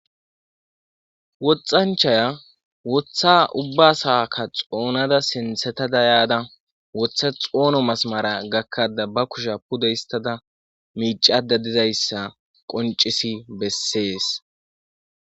Woxxanchaya woththa ubba saakka xoonada sintheta dayada wotha xoono masmara gakkada ba kusha pudo histada miicada dizayssa qoncisi bessees